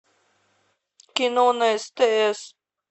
кино на стс